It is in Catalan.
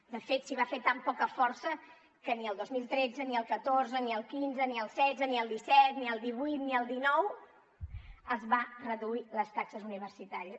de fet s’hi va fer tan poca força que ni el dos mil tretze ni el catorze ni el quinze ni el setze ni el disset ni el divuit ni el dinou es van reduir les taxes universitàries